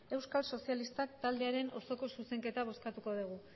euskal sozialistak taldearen osoko zuzenketa bozkatuko dugu